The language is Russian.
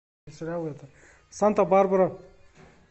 санта барбара